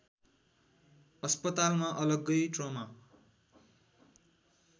अस्पतालमा अलग्गै ट्रमा